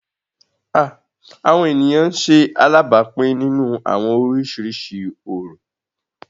Awọn eniyan ń ṣe alabapin ninu awọn oriṣiriṣi orọ